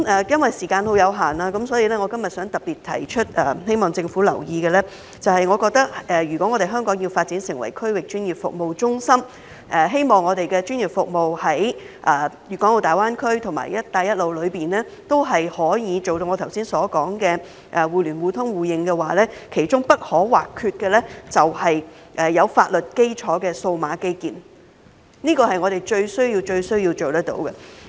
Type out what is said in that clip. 因為時間有限，我今天想特別提出，並希望政府留意的是，我認為如果香港要發展成為區域專業服務中心，希望我們的專業服務在大灣區及"一帶一路"中都能夠做到我剛才所說的互聯互通互認，其中不可或缺的就是有法律基礎的數碼基建，這是我們最需要做到的事情。